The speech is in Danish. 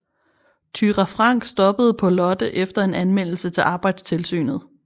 Thyra Frank stoppede på Lotte efter en anmeldelse til arbejdstilsynet